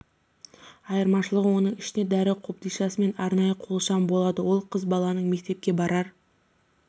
айырмашылығы оның ішінде дәрі қобдишасы мен арнайы қол шам болады ол қыз баланың мектепке барар